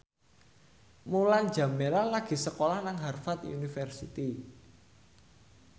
Mulan Jameela lagi sekolah nang Harvard university